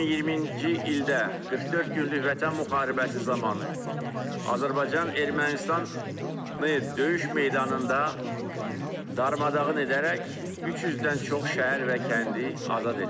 2020-ci ildə 44 günlük Vətən müharibəsi zamanı Azərbaycan Ermənistanı döyüş meydanında darmadağın edərək 300-dən çox şəhər və kəndi azad etdi.